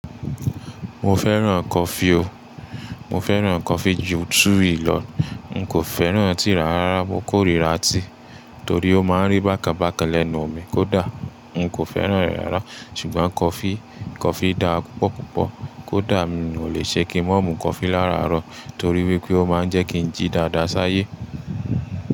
Mo fẹ́ràn coffee o. Mo fẹ́ràn coffee ju tea lọ. N kò fẹ́ràn tí rárá. Mo kórìíra tea torí ó máa ń rí bákan bákan lẹ́nu mi kódà n kò fẹ́ràn re rírà. Ṣùgbọ́n coffee, coffee dára púpọ̀ púpọ̀ kódà mi kò lè ṣe kí mò mú coffee lára àárọ̀ torí wípé ó máa ń jẹ́ kí n jí dáadáa ṣáyé.